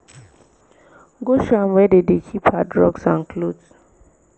go show am where dem dey keep her drugs and cloths